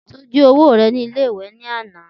Ti o ji owo rẹ ni ile-iwe lana